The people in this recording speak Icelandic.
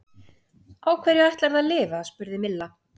Á hverju ætlarðu að lifa? spurði Milla.